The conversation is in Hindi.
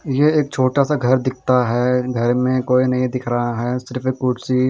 यह एक छोटा सा घर दीखता है घर में कोई नहीं दिख रहा है सिर्फ एक कुर्सी--